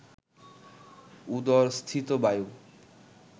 উদরস্থিত বায়ু